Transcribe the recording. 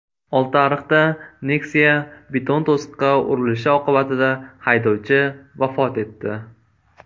Oltiariqda Nexia beton to‘siqqa urilishi oqibatida haydovchi vafot etdi.